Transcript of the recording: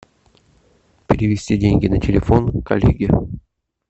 перевести деньги на телефон коллеге